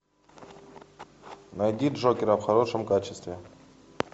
найди джокера в хорошем качестве